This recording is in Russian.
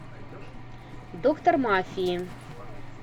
доктор мафии